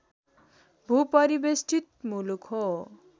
भू परिवेष्ठित मुलुक हो